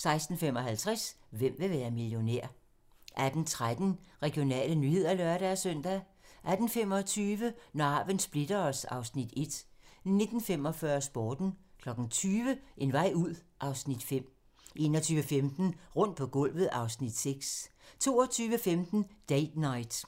16:55: Hvem vil være millionær? 18:13: Regionale nyheder (lør-søn) 18:25: Når arven splitter os (Afs. 1) 19:45: Sporten 20:00: En vej ud (Afs. 5) 21:15: Rundt på gulvet (Afs. 6) 22:15: Date Night